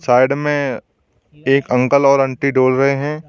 Side में एक uncle और आंटी डोल रहे हैं।